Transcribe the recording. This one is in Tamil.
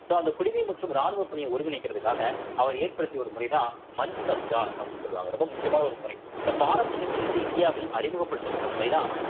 so அந்த குடிமை மற்றும் ராணுவப் பணியை ஒருங்கிணைக்கிறதுக்காக அவர் ஏற்படுத்திய ஒரு முறைதான் மன்சப்தார் அப்படின்னு சொல்லுவாங்க ரொம்ப முக்கியமான ஒரு முறை so பாரசீகத்திலிருந்து இந்தியாவில் அறிமுகப்படுத்தப்பட்ட முறைதான்